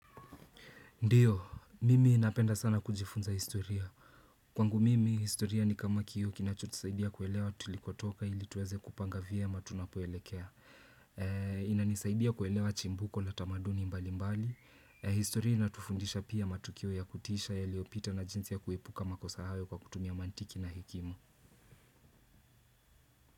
Ndiyo, mimi inapenda sana kujifunza historia. Kwangu mimi, historia ni kama kioo kinacho tusaidia kuelewa tulikotoka ili tuweze kupanga vyema tunapoelekea. Inanisaidia kuelewa chimbuko na tamaduni mbali mbali. Historia inatufundisha pia matukio ya kutisha yaliopita na jinsi ya kuepuka makosa hayo kwa kutumia mantiki na hekima.